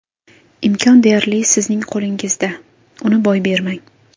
Imkon deyarli sizning qolingizda, uni boy bermang.